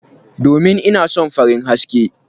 Domin ina son farin haske.